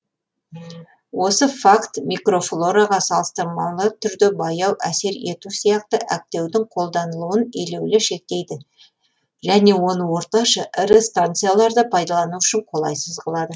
осы факт микрофлораға салыстырмалы түрде баяу әсер ету сияқты әктеудің қолданылуын елеулі шектейді және оны орташа ірі станцияларда пайдалану үшін қолайсыз қылады